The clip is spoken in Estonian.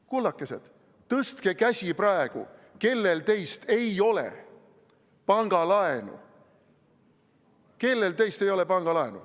Kullakesed, tõstke käsi, kellel teist ei ole pangalaenu.